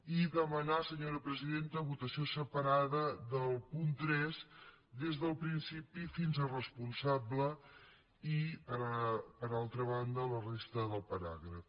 i demanar senyora presidenta votació separada del punt tres des del principi fins a responsable i per altra banda la resta del paràgraf